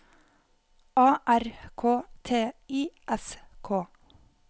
A R K T I S K